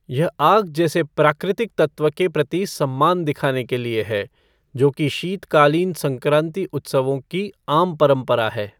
यह आग जैसे प्राकृतिक तत्व के प्रति सम्मान दिखाने के लिए है, जो कि शीतकालीन संक्रांति उत्सवों की आम परंपरा है।